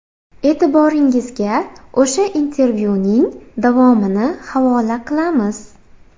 E’tiboringizga o‘sha intervyuning davomini havola qilamiz.